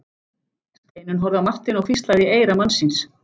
Steinunn horfði á Martein og hvíslaði í eyra manns síns.